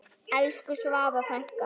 Elsku Svava frænka.